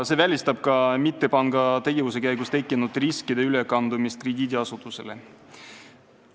See välistab ka mittepanga tegevuse käigus tekkinud riskide ülekandumise krediidiasutusele.